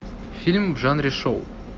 фильм в жанре шоу